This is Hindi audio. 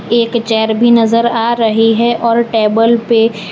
एक चेयर भी नजर आ रही है और टेबल पे--